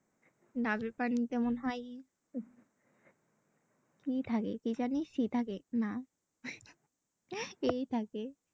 ডাবের পানিতে মনে হয় কি থাকে কি জানি সি থাকে না এ থাকে।